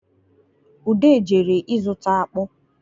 Ude jere ịzụta akpụ